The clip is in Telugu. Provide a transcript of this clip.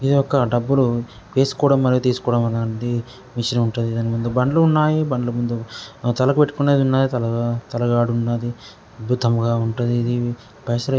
డబ్బులు వేసుకోవడం గాని తీసుకోవడం గాని అనేది మెషీన్ ఉంటది దాని ముందు బండ్లు ఉన్నాయి బండ్లు ముందు తలకు పెట్టుకునేది ఉన్నది తలా తల గడ ఉన్నాది అద్భుతంగా ఉంటది ఇది--